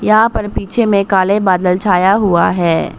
यहां पर पीछे में काले बादल छाया हुआ है।